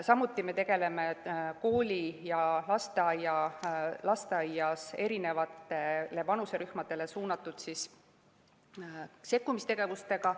Samuti me tegeleme koolis ja lasteaias eri vanuserühmadele suunatud sekkumistegevustega.